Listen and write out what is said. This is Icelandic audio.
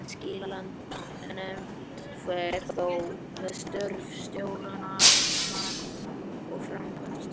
Skilanefnd fer þó með störf stjórnar og framkvæmdastjóra.